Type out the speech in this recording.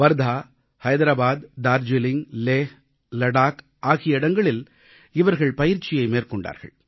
வார்தா ஐதராபாத் டார்ஜீலிங் லே லடாக் ஆகிய இடங்களில் இவர்கள் பயிற்சி மேற்கொண்டார்கள்